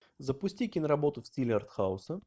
запусти киноработу в стиле артхауса